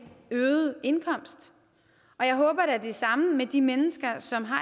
øget indkomst jeg håber da det samme med de mennesker som har